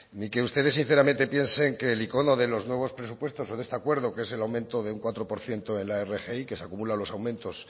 ni que ustedes sinceramente piensen que el icono de los nuevos presupuestos o de este acuerdo que es el aumento de un cuatro por ciento en la rgi que se acumulan los aumentos